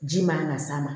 Ji man ka s'a ma